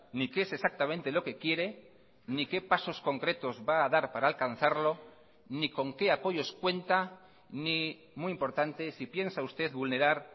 ni qué es exactamente lo que quiere ni qué pasos concretos va a dar para alcanzarlo ni con qué apoyos cuenta ni muy importante si piensa usted vulnerar